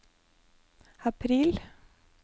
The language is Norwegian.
april